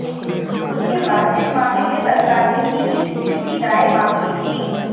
उसके बाद इस मामले में सरकार ने सीबीसी से भी राय मांगी थी